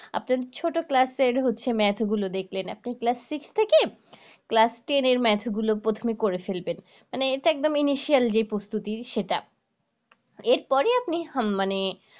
আপনার ছোট class এর হচ্ছে math গুলো দেখবেন আপনি class six থেকে class ten এর math গুলো প্রথমে করে ফেলবেন এটা একদম যেই প্রস্তুতি সেটা এর পরে আপনি মানে